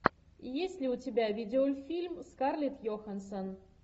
есть ли у тебя видеофильм с скарлетт йоханссон